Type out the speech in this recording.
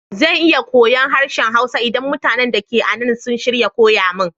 Zan iya koyon harshen Hausa idan mutanin da ke anan sun shirya koya mun.